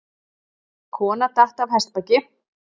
Kona datt af hestbaki